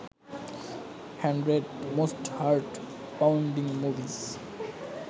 hundred most heart pounding movies